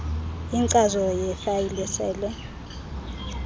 inkcazo yefayile sele